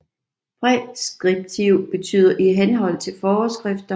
Præskriptiv betyder i henhold til forskrifter